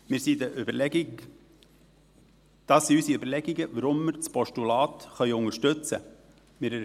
Dies sind unsere Überlegungen, weshalb wir das Postulat unterstützen können.